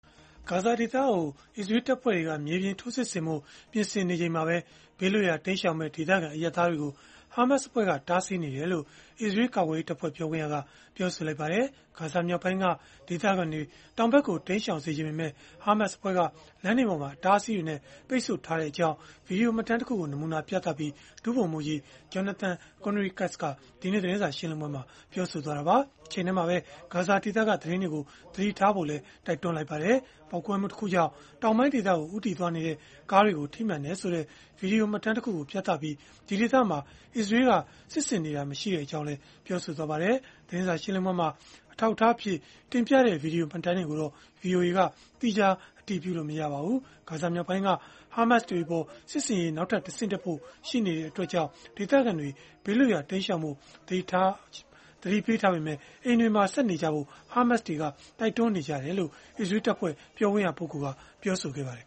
ဂါဇာဒေသကို အစ္စရေးလ် တပ်ဖွဲ့တွေက မြေပြင်ထိုးစစ်ဆင်ဖို့ ပြင်ဆင်နေချိန်မှာပဲ ဘေးလွတ်ရာ တိမ်းရှောင်မယ့် ဒေသခံအရပ်သားတွေကို ဟာမတ်စ် အဖွဲ့က တားဆီးနေတယ်လို့ အစ္စရေးလ်ကာကွယ်ရေးတပ်ဖွဲ့ ပြောခွင့်ရက ပြောလိုက်ပါတယ်။ ဂါဇာမြောက်ပိုင်းက ဒေသခံတွေ တောင်ဖက်ကို တိမ်းရှောင်စေချင်ပေမဲ့ ဟာမတ်စ် အဖွဲ့က လမ်းတွေပေါ်မှာ အတားအဆီးတွေနဲ့ ပိတ်ဆို့ထားကြောင်း ဗွီဒီယိုမှတ်တမ်းတခုကို နမူနာပြသပြီး ဒုဗိုလ်မှူးကြီး Jonathan Conricus က ဒီကနေ့ သတင်းစာ ရှင်းလင်းပွဲမှာ ပြောဆိုခဲ့တာပါ။ တချိန်တည်းမှာပဲ ဂါဇာဒေသက သတင်းတွေကို သတိထားဖို့လည်း တိုက်တွန်းလိုက်ပါတယ်။ ပေါက်ကွဲမှုတခုကြောင့် တောင်ပိုင်းဒေသကို ဦးတည်သွားနေတဲ့ ကားတွေ ထိမှန်ခဲ့တယ်ဆိုတဲ့ ဗွီဒီယိုမှတ်တမ်းတခုကို ပြသခဲ့ပြီး ဒီဒေသမှာအစ္စရေးလ်က စစ်ဆင်နေတာ မရှိကြောင်းလည်း ပြောခဲ့ပါတယ်။ သတင်းစာရှင်းလင်းပွဲမှာ အထောက်အထားအဖြစ်တင်ပြတဲ့ ဗွီဒီယိုမှတ်တမ်းတွေကိုတော့ ဗွီအိုအေကသီးခြားအတည်ပြုလို့ မရပါဘူး။ ဂါဇာမြောက်ပိုင်းက ဟာမတ်စ် တွေအပေါ် စစ်ဆင်ရေးနောက်ထပ် တဆင့်တက်ဖို့ ရှိနေတာကြောင့် ဒေသခံတွေ ဘေးလွတ်ရာတိမ်းရှောင်ဖို့ သတိပေးထားပေမဲ့ အိမ်တွေမှာပဲ ဆက်နေကြဖို့ ဟာမတ်စ် တွေက တိုက်တွန်းထားတယ်လို့လည်း အစ္စရေးလ်တပ်ဖွဲ့ ပြောခွင့်ရပုဂ္ဂိုလ်က ပြောဆိုခဲ့ပါတယ်